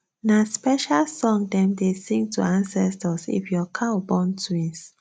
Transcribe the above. nah special song dem dey sing to ancestors if your cow born twins